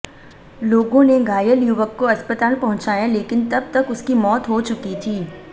लोगों ने घायल युवक को अस्पताल पहुंचाया लेकिन तब तक उसकी मौत हो चुकी थी